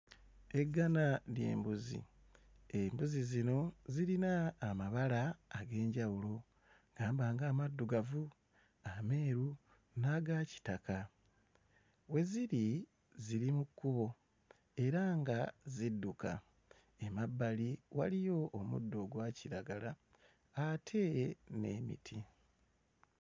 Eggana ly'embuzi, embuzi zino zirina amabala ag'enjawulo gamba nga amaddugavu, ameeru n'aga kitaka. We ziri ziri mu kkubo era nga zidduka. Emabbali waliyo omuddo ogwa kiragala ate n'emiti.